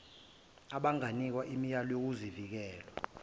abanganikwa imiyalo yezokuvikela